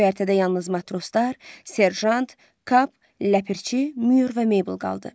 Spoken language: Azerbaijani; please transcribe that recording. Göyərtədə yalnız matroslar, serjant, Kap, ləpirçi, Mür və Meybil qaldı.